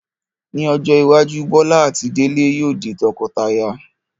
Ní ọjọ́ iwájú, Bọ́lá àti Délé yóò di tọkọtaya